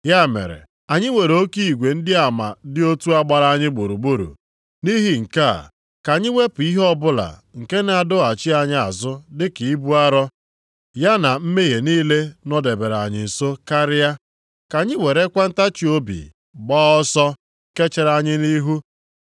Ya mere, anyị nwere oke igwe ndị ama dị otu a gbara anyị gburugburu, nʼihi nke a, ka anyị wepụ ihe ọbụla nke na-adọghachi anyị azụ dịka ibu arọ, ya na mmehie niile nọdebere anyị nsọ karịa. Ka anyị werekwa ntachiobi gbaa ọsọ nke chere anyị nʼihu.